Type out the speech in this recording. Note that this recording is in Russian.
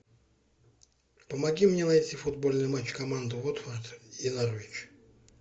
помоги мне найти футбольный матч команды уотфорд и норвич